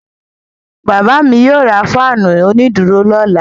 Bàbá mi yóò ra fáánù onídùúró lọ́la.